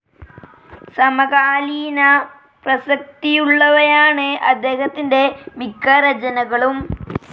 സമകാലീന പ്രസക്തിയുള്ളവയാണ് അദ്ദേഹത്തിൻ്റെ മിക്ക രചനകളും.